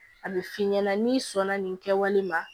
A bɛ f'i ɲɛna n'i sɔnna nin kɛwale ma